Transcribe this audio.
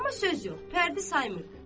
Amma söz yox, pərdi saymırdı.